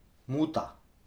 Muta.